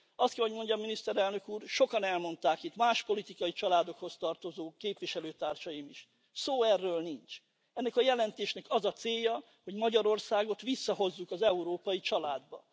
Azt kell, hogy mondjam, Miniszterelnök úr, sokan elmondták itt más politikai családokhoz tartozó képviselőtársaim is, szó sincs erről. Ennek a jelentésnek az a célja, hogy Magyarországot visszahozzuk az európai családba.